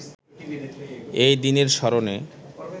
এই দিনের স্মরণে